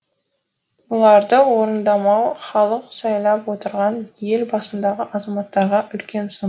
бұларды орындамау халық сайлап отырған ел басындағы азаматтарға үлкен сын